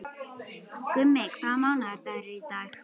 Gummi, hvaða mánaðardagur er í dag?